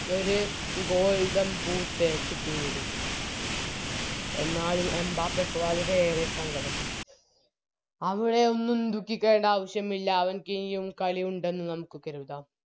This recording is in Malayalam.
ഒര് Golden boot കിട്ടിയിരിക്കുന്നു എന്നാലും എംബപ്പേക്ക് വളരെയേറെ സങ്കടമായി അവിടെ ഒന്നും ദുഖിക്കേണ്ട ആവശ്യമില്ല അവന്ക്ക് എനിയും കളിയുണ്ടെന്ന് നമുക്ക് കരുതം